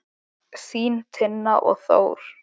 Þín Tinna og Þór.